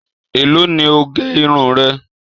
Èló ni o gẹ irun rẹ?